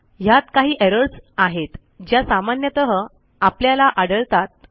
ह्यात काही एरर्स आहेत ज्या सामान्यतः आपल्याला आढळतात